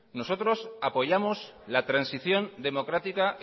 nosotros apoyamos la transición democrática